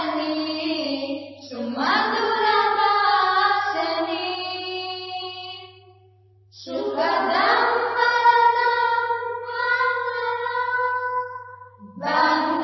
वन्दे मातरम् वन्दे मातरम्